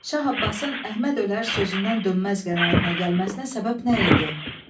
Şah Abbasın Əhməd ölər sözündən dönməz qənaətinə gəlməsinə səbəb nə idi?